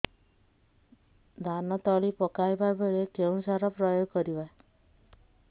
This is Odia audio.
ଧାନ ତଳି ପକାଇବା ବେଳେ କେଉଁ ସାର ପ୍ରୟୋଗ କରିବା